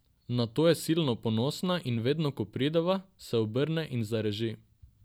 Na to je silno ponosna in vedno, ko prideva, se obrne in zareži.